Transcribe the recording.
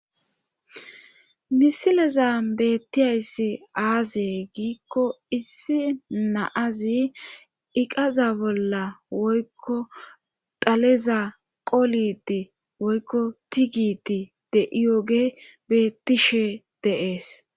misileza beettiyayssi aaze giikko issi naazi iqaza bolla woykko daleza qolidi woykko tigiti de7iyoge beettishe deees